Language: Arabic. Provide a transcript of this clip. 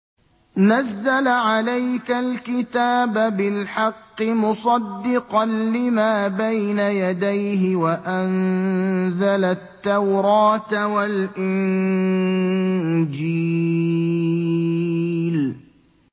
نَزَّلَ عَلَيْكَ الْكِتَابَ بِالْحَقِّ مُصَدِّقًا لِّمَا بَيْنَ يَدَيْهِ وَأَنزَلَ التَّوْرَاةَ وَالْإِنجِيلَ